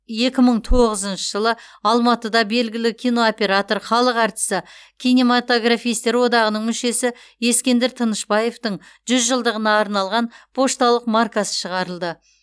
екі мың тоғызыншы жылы алматыда белгілі кинооператор халық әртісі кинематографистер одағының мүшесі ескендір тынышбаевтың жүз жылдығына арналған пошталық маркасы шығарылды